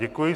Děkuji.